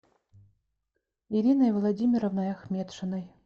ириной владимировной ахметшиной